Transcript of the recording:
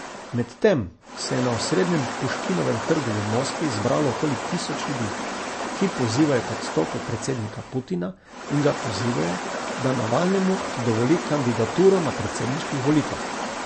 Medtem se je na osrednjem Puškinovem trgu v Moskvi zbralo okoli tisoč ljudi, ki pozivajo k odstopu predsednika Putina in ga pozivajo, da Navalnemu dovoli kandidaturo na predsedniških volitvah.